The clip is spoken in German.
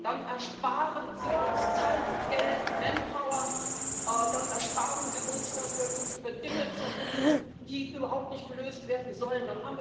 Dann erspart sie uns Zeit, Geld, Manpower, dann erspart sie uns, dass wir uns über Dinge zerrupfen, die überhaupt nicht gelöst werden sollen.